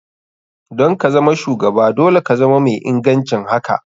Don kazama shugaba dole ka zama mai ingancin haka.